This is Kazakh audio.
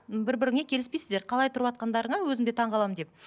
м бір біріңе келіспейсіздер қалай тұрватқандарыңа өзім де таңғаламын деп